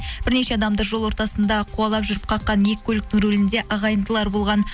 бірнеше адамды жол ортасында қуалап жүріп қаққан екі көліктің рулінде ағайындылар болған